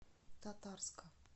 татарска